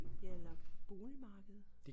Ja eller boligmarkedet